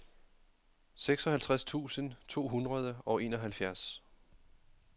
seksoghalvtreds tusind to hundrede og enoghalvfjerds